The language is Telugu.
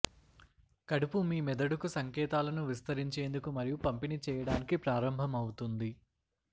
కడుపు మీ మెదడుకు సంకేతాలను విస్తరించేందుకు మరియు పంపిణీ చేయటానికి ప్రారంభమవుతుంది